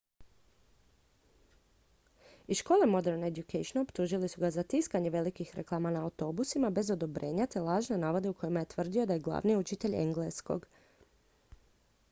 iz škole modern education optužili su ga za tiskanje velikih reklama na autobusima bez odobrenja te lažne navode u kojima je tvrdio da je glavni učitelj engleskog